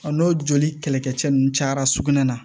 Ɔ n'o joli kɛlɛkɛcɛ ninnu cayara sugunɛ na